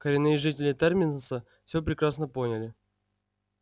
коренные жители терминуса всё прекрасно поняли